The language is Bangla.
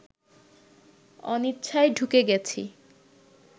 অনিচ্ছায় ঢুকে গেছি